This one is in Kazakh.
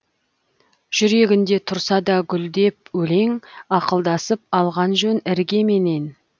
жүрегіңде тұрса да гүлдеп өлең ақылдасып алған жөн іргеменен